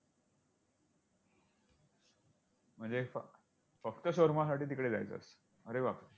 म्हणजे फक्त shawarama साठी तिकडे जायचं, अरे बाप रे